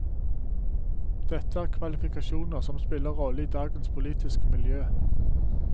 Dette er kvalifikasjoner som spiller rolle i dagens politiske miljø.